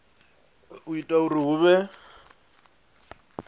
u ita uri hu vhe